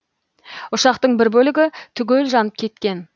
ұшақтың бір бөлігі түгел жанып кеткен